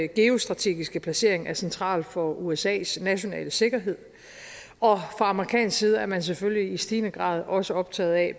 geostrategiske placering er central for usas nationale sikkerhed og fra amerikansk side er man selvfølgelig i stigende grad også optaget af